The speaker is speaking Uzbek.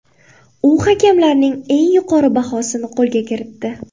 U hakamlarning eng yuqori bahosini qo‘lga kiritdi.